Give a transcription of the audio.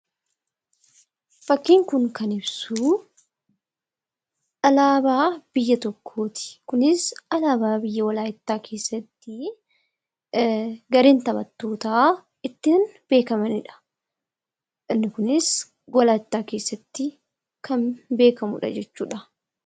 Fakkiin Kun kan ibsu, alaabaa biyya tokkooti. Kunis alaabaa biyya walaayittaa keessatti gareen taphattoota ittiin beekamanidha. Inni kunis walaayittaa keessatti kan beekamudha jechuudha.